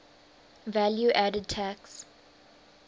value added tax